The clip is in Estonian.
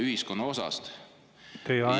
Teie aeg!